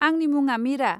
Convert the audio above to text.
आंनि मुङा मिरा।